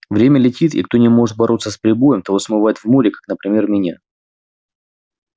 время летит и кто не может бороться с прибоем того смывает в море как например меня